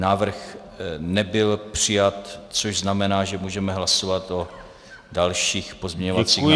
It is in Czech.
Návrh nebyl přijat, což znamená, že můžeme hlasovat o dalších pozměňovacích návrzích.